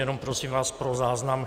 Jenom prosím vás pro záznam.